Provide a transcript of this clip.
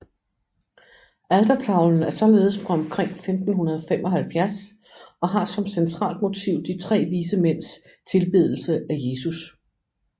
Altertavlen er således fra omkring 1575 og har som centralt motiv de tre vise mænds tilbedelse af Jesus